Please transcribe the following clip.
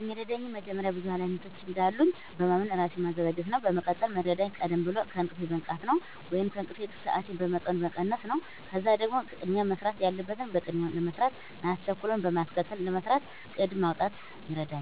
የሚረዳኝ መጀመሪያ ብዙ ሀላፊነቶች እንዳሉኝ በማመን ራሴን ማዘጋጀት ነው። በመቀጠል ሚረዳኝ ቀደም ብሎ ከእንቅልፌ መንቃት ነው ወይንም የእንቅልፍ ሰአቴን በመጠኑ መቀነስ ነው። ከዛም ደግሞ ቅድሚያ መሰራት ያለበትን በቅድሚያ ለመስራት ማያስቸኩለውን በማስከተል ለመስራት እቅድ ማውጣት ይረዳኛል።